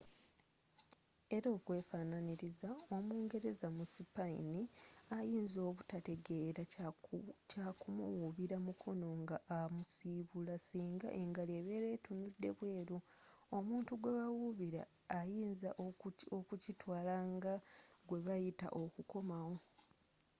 era okwefaananiriza omungereza mu sipayini ayinza obutategela kya kumuwubila mukono nga amusibula singa engalo ebera etunudde bweru omutu gwebawubila ayinza okukitwala nga gwebayita okukomawo